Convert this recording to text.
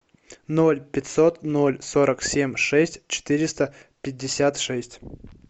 ноль пятьсот ноль сорок семь шесть четыреста пятьдесят шесть